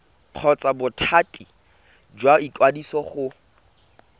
kgotsa bothati jwa ikwadiso go